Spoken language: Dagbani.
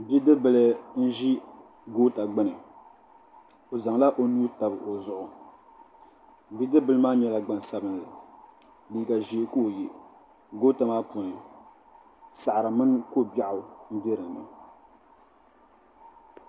bidib' bila n-ʒi goota gbuni o zaŋla o nuu tabi o zuɣu bidib' bila maa nyɛla gbaŋ' sabinli liiga ʒee ka o ye goota maa puuni saɣiri mini ko' biɛɣu m-be din ni.